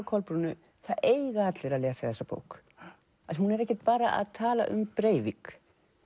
Kolbrúnu það eiga allir að lesa þessa bók af því hún er ekkert bara að tala um Breivik